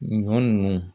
Ɲɔ nunnu